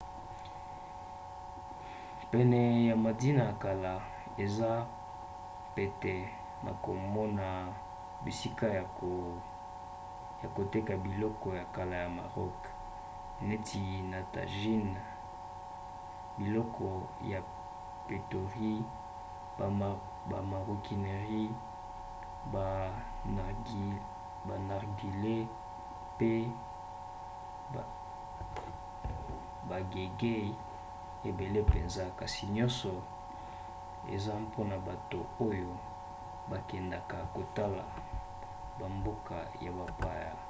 pene ya medina ya kala eza pete na komona bisika ya koteka biloko ya kala ya maroc neti ba tajines biloko ya poterie ba maroquinerie ba narguilés pe bageegaws ebele mpenza kasi nyonso eza mpona bato oyo bakendaka kotala bamboka ya bapaya